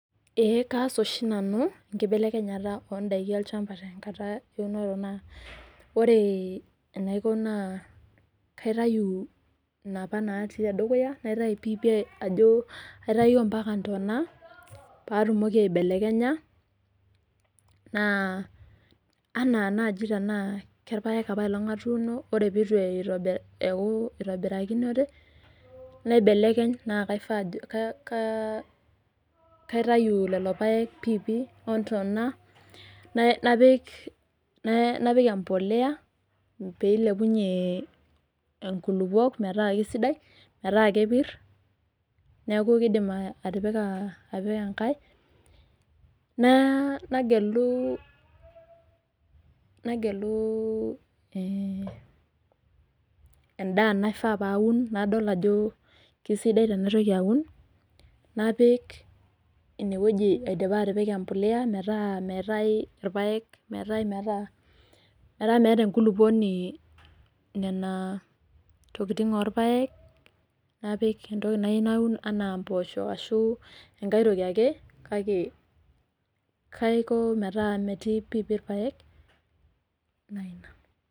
Eee kaas oshi nanu, enkibelekenyata oondaiki olchamba tenkata eunore naa ore enaiko naa kaitayu inapa naati tedukuya naitayu pii pii ajo aitayu ampaka intona paatumoki aibelekenya, naa, enaa naaji tenaa kerpaek apaelong' atuuno ore peeku itu itobira eeku eitobirakinote naibelekeny naa kaifaa ajo ka ka ,kaitayu lelo paek pii pii ontona napik emboleya, pee ilepunye ikolukuok meeta sidai metaa kepirr neeku kiidim atipika apik enkae naa, nagelu, nagelu ee, endaa naifaa paun nadol ajo kesidai tenaitoki aun, napik ineweki aidipa atipika emboleya meeta meetai irrpaek meeta meeta enkulukuoni nena tokitin orrpaek, napik entoki nayeu naun enaa imboosho ashu enkae toki ake, kake kaiko meeta metii pii irrpaek enaina.